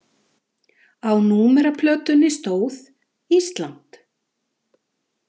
Á númeraplötunni stóð: ÍSLAND.